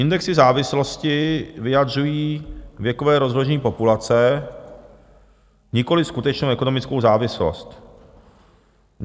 Indexy závislosti vyjadřují věkové rozložení populace, nikoliv skutečnou ekonomickou závislost.